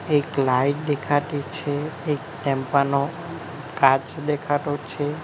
એક લાઇટ દેખાતી છે એક ટેમ્પા નો કાચ દેખાતો છે.